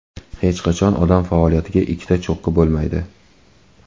Hech qachon odam faoliyatida ikkita cho‘qqi bo‘lmaydi.